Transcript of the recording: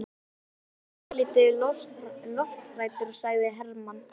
Hann er svolítið lofthræddur, sagði Hermann.